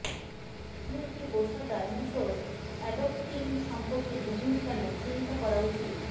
আপনি একটি পোষা ডাইনোসর অ্যাডপ্টিং সম্পর্কে দ্বিগুণ কেন চিন্তা করা উচিত